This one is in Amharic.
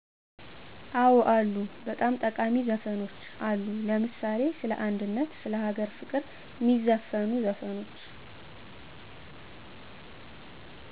አወ አሉ በጣም ጠቃሜ ዘፈኖች አሉ ለምሳሌ ሰለ አንድነት ስለ አገር ፍቅር ሜዘፍኑ ዘፈኖች